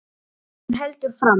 Eins og hún heldur fram.